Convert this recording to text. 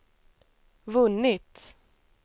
vunnit